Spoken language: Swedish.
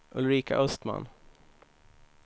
Ulrika Östman